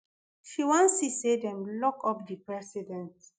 she wan see say dem lock up di president